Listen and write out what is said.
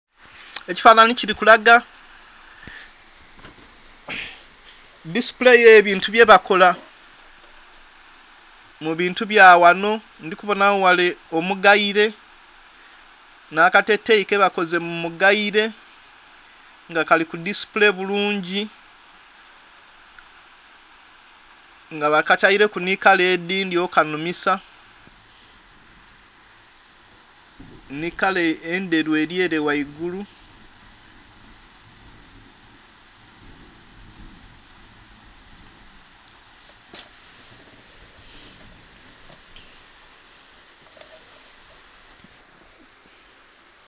Ekifanhanhi kili kulaga display y'ebintu byebakola mu bintu bya ghano. Ndhi kubonagho ghale omugaile, nh'akateteeyi kebakoze mu mugaile, nga kali ku display bulungi nga bakataileku nhi kala edhindhi okukanhumisa. Nhi kala endheru eli ele ghaigulu.